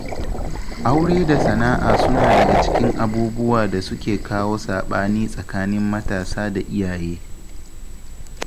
Aure da sana'a suna daga cikin abubuwan da suke kawo saɓani tsakanin matasa da iyaye.